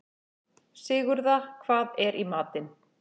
Sigurða, hvað er í matinn?